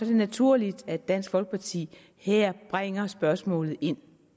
det naturligt at dansk folkeparti her bringer spørgsmålet ind